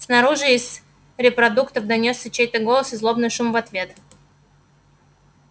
снаружи из репродукторов донёсся чей-то голос и злобный шум в ответ